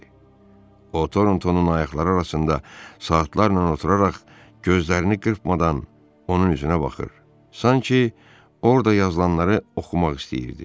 O Torontonun ayaqları arasında saatlarla oturaraq gözlərini qırpmadan onun üzünə baxır, sanki orada yazılanları oxumaq istəyirdi.